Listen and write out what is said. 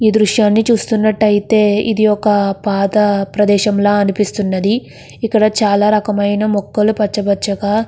ఈ దృశ్యాన్ని చూస్తున్నట్లైతే ఇది ఒక పాత ప్రదేశంల అనిపిస్తునది. ఇక్కడ చాల రకములైన మొక్కలు పచ్చ పచ్చగా --